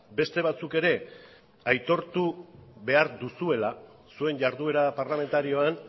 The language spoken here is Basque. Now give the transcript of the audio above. beste batzuk ere aitortu behar duzuela zuen jarduera parlamentarioan